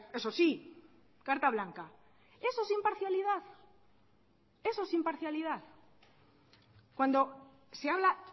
eso sí carta blanca eso es imparcialidad eso es imparcialidad cuando se habla